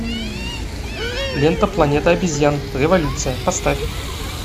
лента планета обезьян революция поставь